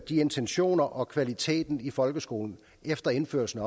intentionerne og kvaliteten i folkeskolen efter indførelsen